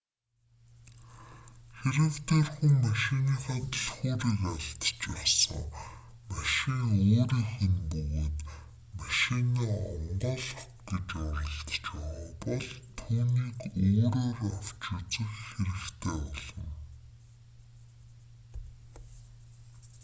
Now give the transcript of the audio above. хэрэв тэр хүн машиныхаа түлхүүрийг алдчихсан машин өөрийнх нь бөгөөд машинаа онгойлгох гэж оролдож байгаа бол түүнийг өөрөөр авч үзэх хэрэгтэй болно